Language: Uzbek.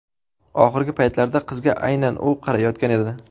Oxirgi paytlarda qizga aynan u qarayotgan edi.